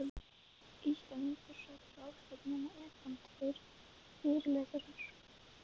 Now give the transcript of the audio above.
Íslendingur sat ráðstefnuna utan tveir fyrirlesarar.